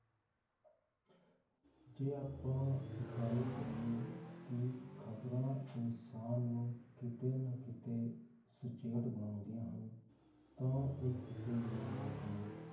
ਜੇ ਆਪਾਂ ਗੱਲ ਕਰੀਏ ਕਿ ਖਬਰਾਂ ਇਨਸਾਨ ਨੂੰ ਕਿਤੇ ਨਾ ਕਿਤੇ, ਸੁਚੇਤ ਬਣਾਉਂਦੀਆਂ ਹਨ, ਤਾਂ ਇਹ ਕਿਤੇ ਵੀ ਗਲਤ ਨਹੀਂ